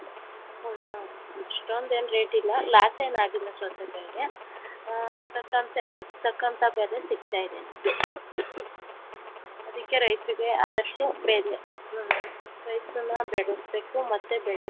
ಅಷ್ಟೊಂದು ಏನು rate ಇಲ್ಲ loss ಏನು ಆಗಿಲ್ಲ ಸೌತೆ ಕಾಯ್ಗೆ ತಕ್ಕಂತ ಅದಕ್ಕೆ ತಕ್ಕಂತೆ ಬೆಲೆ ಸಿಕ್ತಾ ಇದೆ ನಮ್ಗೆ ಅದಿಕ್ಕೆ ರೈತರಿಗೆ ಆದಷ್ಟು ಬೆಲೆ ರೈತರುನ್ನ ಬೆಳಿಸ್ಬೇಕು ಮತ್ತೆ ಬೆಳೆಗೆ.